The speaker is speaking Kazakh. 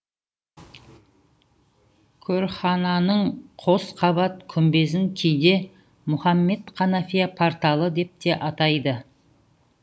көрхананың қос қабат күмбезін кейде мұхаммед ханафия порталы деп те атайды